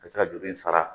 Ka se ka juru in sara